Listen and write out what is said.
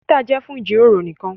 Twitter jẹ fún jíròrò nìkàn.